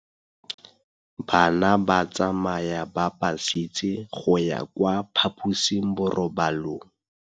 Bana ba tsamaya ka phašitshe go ya kwa phaposiborobalong.